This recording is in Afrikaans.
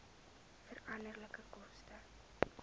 veranderlike koste